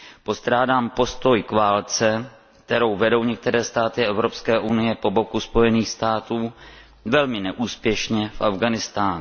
Postrádám postoj k válce, kterou vedou některé státy Evropské unie po boku Spojených států velmi neúspěšně v Afghánistánu.